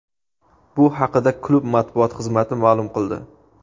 Bu haqida klub matbuot xizmati ma’lum qildi .